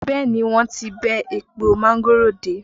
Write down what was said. Bẹẹ ni, wọ́n ti bẹ́ èpo mángòrò dé